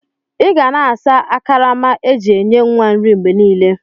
Iga na asa akarama eji enye nwa nri mgbe nile.!!